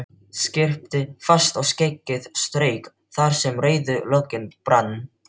Skyrpti fast og skeggið strauk þar sem rauður loginn brann.